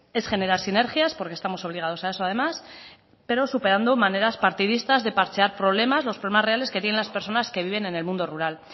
es generar sinergias porque estamos obligados a eso además pero superando maneras partidistas de parchear problemas los problemas reales que tienen las personas que viven en el mundo rural